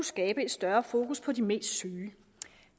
skabe et større fokus på de mest syge